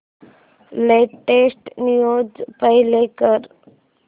latest news play कर